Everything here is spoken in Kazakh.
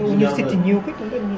университетте не оқиды онда не